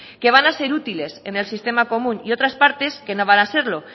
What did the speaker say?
que van a ser útiles en el sistema común y otras partes que no van a serlo